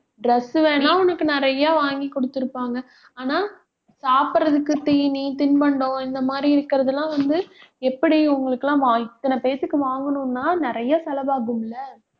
dress வேணா உனக்கு நிறைய வாங்கி கொடுத்திருப்பாங்க. ஆனா, சாப்பிடுறதுக்கு தீனி, தின்பண்டம் இந்த மாதிரி இருக்கிறதெல்லாம் வந்து எப்படி உங்களுக்கெல்லாம் வ~ இத்தனை பேத்துக்கு வாங்கணும்னா நிறைய செலவாகும்ல